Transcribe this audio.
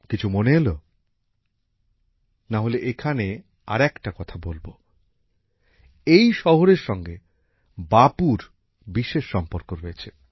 কিছু মনে এলো না হলে এখানে আর একটা কথা বলবো এই শহরের সঙ্গে বাপুর বিশেষ সম্পর্ক রয়েছে